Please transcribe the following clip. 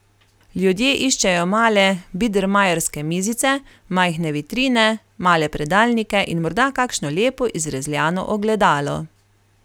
Ljudje iščejo male bidermajerske mizice, majhne vitrine, male predalnike in morda kakšno lepo izrezljano ogledalo.